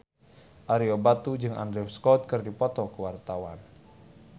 Ario Batu jeung Andrew Scott keur dipoto ku wartawan